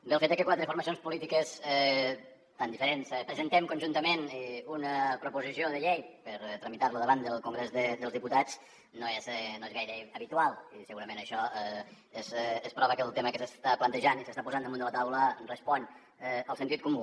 bé el fet de que quatre formacions polítiques tan diferents presentem conjuntament una proposició de llei per tramitar la davant del congrés dels diputats no és gaire habitual i segurament això és prova que el tema que s’està plantejant i s’està posant damunt de la taula respon al sentit comú